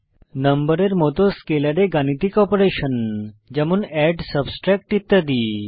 নম্বরের মত স্কেলারে গাণিতিক অপারেশন যেমন এড সাবট্রাক্ট ইত্যাদি